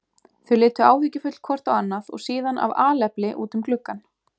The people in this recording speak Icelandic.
Þau litu áhyggjufull hvort á annað og síðan af alefli út um gluggann.